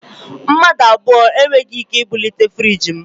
Mmadụ abụọ e nweghị ike ibulite friiji m